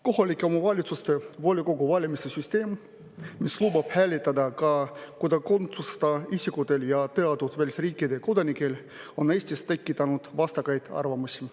Kohaliku omavalitsuse volikogu valimiste süsteem, mis lubab hääletada ka kodakondsuseta isikutel ja teatud välisriikide kodanikel, on Eestis tekitanud vastakaid arvamusi.